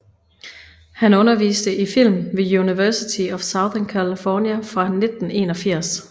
Han underviste i film ved University of Southern California fra 1981